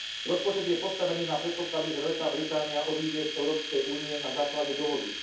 Rozpočet je postavený na predpoklade, že Veľká Británia odíde z Európskej únie na základe dohody.